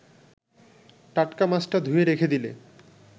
টাটকা মাছটা ধুয়ে রেখে দিলে